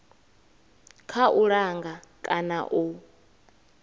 kha u langa kana u